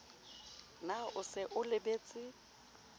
na o se o lebetse